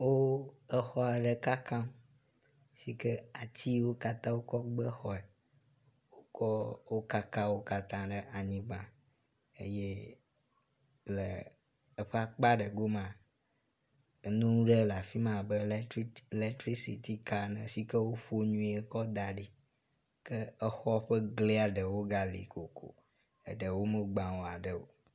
Wo exɔ aɖe kakam si ke atsi siwo katã wokɔ gbe xɔe, wokaka wo katã ɖe anyigba eye le eƒe akpa ɖe gome nu ɖe le afi ma abe letrisity ka ene si ke woƒo nyuie kɔ da ɖi. Ke exɔ ƒe gli aɖewo ga li kokoko, aɖewo megbã aɖe.